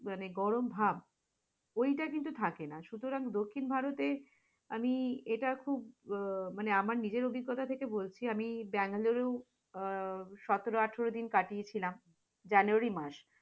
মানে গরম ভাব, ঐটা থাকে না সুতরাং দক্ষিণ ভারতে আমি এটা খুব আহ মানে আমার নিজের অভিজ্ঞতা থেকে বলছি আমি বেঙ্গালুরু সতেরো-আঠারো দিন কাটিয়েছিলাম, januyary মাসে